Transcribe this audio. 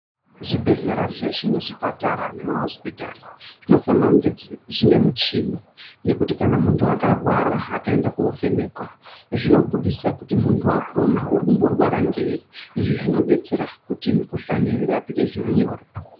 Zvibhedhlera zveshe ne zvipatara nema hosipitari zvino fanira kunge zvine michini yekuti muntu aka rwara akaenda ko vhenekwa zvino buditsa kuti muntu wakona uri kumbo rwara ngei izvi zvinod detsera kuti mu kuhlani irapike zviro nyore.